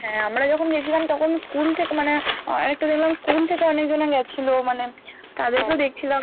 হ্যাঁ আমরা যখন গেছিলাম তখন school থেকে মানে আহ একটা দেখলাম school থেকে অনেকজন গেছিলো মানে তাদেরকেও দেখছিলাম